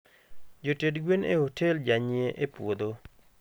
joted gwen e hotel janyie e puodho